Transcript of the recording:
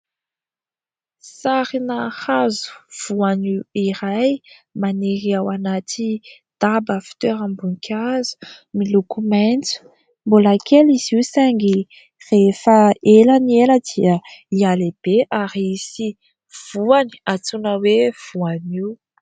Sarina hazo voanio iray maniry ao anaty daba fitoeram-boninkazo miloko maitso mbola kely izy io saingy rehefa ela ny ela dia mihalehibe ary hisy voany antsoina hoe voanio.